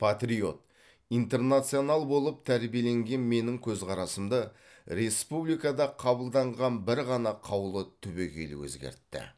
патриот интернационал болып тәрбиеленген менің көзқарасымды республикада қабылданған бір ғана қаулы түбегейлі өзгертті